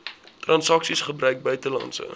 transaksies gebruik buitelandse